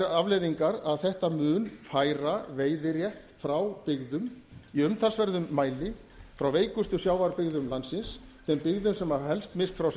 afleiðingar að þetta mun færa veiðirétt frá byggðum í umtalsverðum mæli frá veikustu sjávarbyggðum landsins þeim byggðum sem hafa helst misst frá sér